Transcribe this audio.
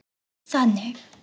Þú ert þannig.